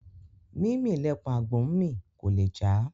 Mímì lẹpọ̀n àgbò ńmì; kò lè já